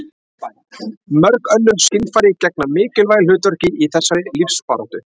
Mörg önnur skynfæri gegna mikilvægu hlutverki í þessari lífsbaráttu.